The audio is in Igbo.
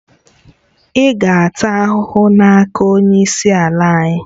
Ị ga-ata ahụhụ n'aka onye isi ala anyị